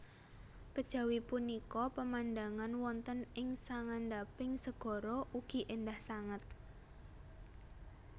Kejawi punika pemandangan wonten ing sangandhaping segara ugi éndah sanget